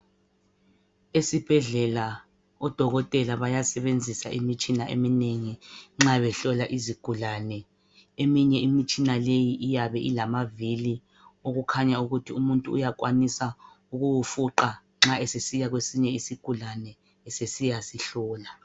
Esibhedlela odokotela bayasebenzisa imitshina eminengi nxa behlola izigulane eminye imitshina iyabe ilamavili okukhanya ukuthi umuntu uyakwanisa ukuwufuqa nxa esesiya kwesinye isigulane esesiya sihlola.